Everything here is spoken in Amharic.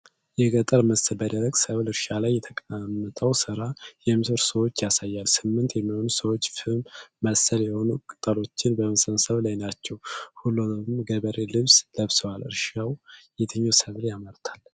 የገጠር ምስል፣ በደረቅ የሰብል እርሻ ላይ ተቀምጠው ሥራ የሚሰሩ ሰዎችን ያሳያል። ስምንት የሚሆኑ ሰዎች ፍም መሰል የሆኑ ቅጠሎችን በመሰብሰብ ላይ ናቸው። ሁሉም የገበሬ ልብስ ለብሰዋል። እርሻው የትኛውን ሰብል ያመርታል?